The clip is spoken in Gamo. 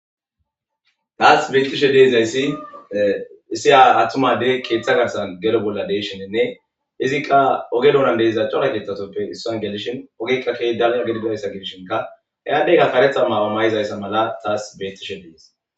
Taas beyttishe deizayssi issi a hattumadey keeththa garsa gero bolla deshenenne izikqa oge dounan deiza cola geetatoppe issoyn gelishin ogika ke dalya gedigidaysa gibshinka hayaddeyka karetha maamamayizayssa mala taas bettishe dees.